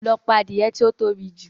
Lọ pa adìẹ tí ó tóbi jù!